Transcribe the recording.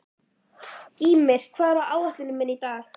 Gýmir, hvað er á áætluninni minni í dag?